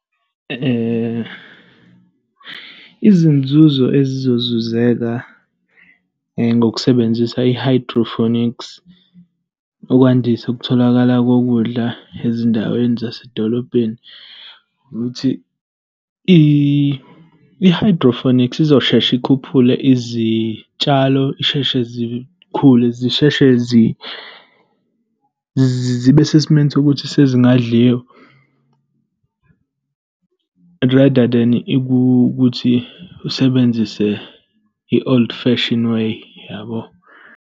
Izinzuzo ezizozuzeka ngokusebenzisa i-hydroponics ukwandisa ukutholakala kokudla ezindaweni zasedolobheni ukuthi i-hydrophonics izoshesha ikhuphule izitshalo zisheshe zikhule, zisheshe zibe sesimeni sokuthi sezingadliwa, rather than ukuthi usebenzise i-old fashion, way, yabo.